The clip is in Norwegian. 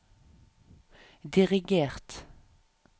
dirigert